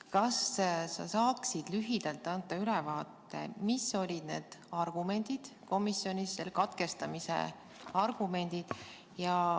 Kas sa saaksid lühidalt anda ülevaate, mis olid katkestamise argumendid komisjonis?